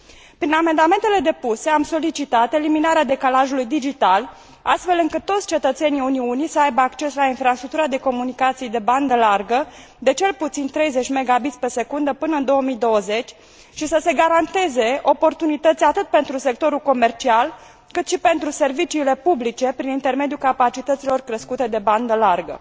Prin amendamentele depuse, am solicitat eliminarea decalajului digital, astfel încât toți cetățenii Uniunii să aibă acces la infrastructura de comunicații de bandă largă, de cel puțin 30Mb secundă până în 2020 și să se garanteze oportunități atât pentru sectorul comercial, cât și pentru serviciile publice prin intermediul capacităților crescute de bandă largă.